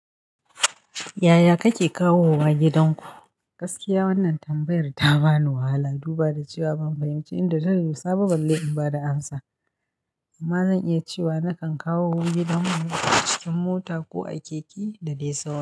Yaya kake kawowa gidanku? Gaskiya wannan tambayar ta bani wahala. Duba da cewa ban fahimci inda ta dosa ba, balle in bada amsa. Amma zan iya cewa nakan kawo gidan mu cikin mota ko a keke da dai sau.